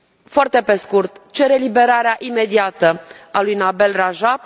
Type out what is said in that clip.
Foarte pe scurt cer eliberarea imediată a lui Nabeel Rajab!